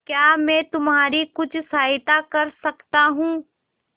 क्या मैं तुम्हारी कुछ सहायता कर सकता हूं